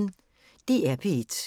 DR P1